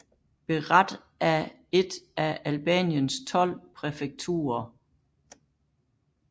Berat er et af Albaniens tolv præfekturer